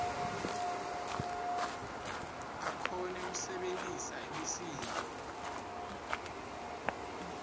akhone kusebentisa imisindvo